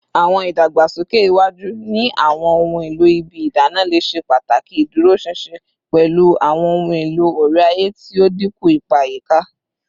Awọn idagbasoke iwaju ni awọn ohun elo ibi idana le ṣe pataki iduroṣinṣin, pẹlu awọn ohun elo ore-aye ti o dinku ipa ayika